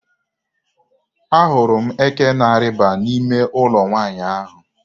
Ahụrụ m eke na-arịba n'ime ụlọ nwaanyị ahụ.